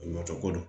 Ɲɔ tɛ ko don